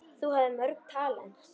Þú hafðir mörg talent.